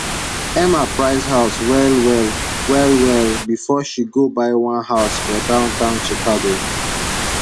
emma price house well well well well befor she go buy one house for downtown chicago